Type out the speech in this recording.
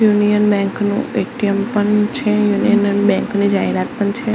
Union Bank નું ATM પણ છે યુનિયન બેંક ની જાહેરાત પણ છે.